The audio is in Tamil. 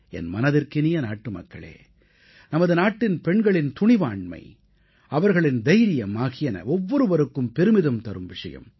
என் மனதிற்கினிய நாட்டுமக்களே நமது நாட்டின் பெண்களின் துணிவாண்மை அவர்களின் தைரியம் ஆகியன ஒவ்வொருவருக்கும் பெருமிதம் தரும் விஷயம்